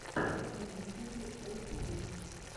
на ютюбе олдфринкс